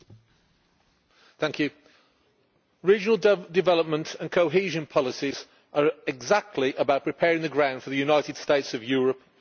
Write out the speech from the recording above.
Madam President, regional development and cohesion policies are exactly about preparing the ground for the United States of Europe.